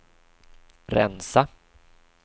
rensa